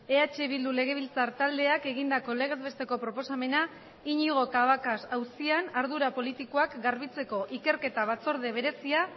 eh bildu legebiltzar taldeak egindako legez besteko proposamena iñigo cabacas auzian ardura politikoak garbitzeko ikerketa batzorde berezia